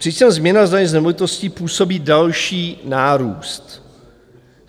Přičemž změna daně z nemovitostí působí další nárůst.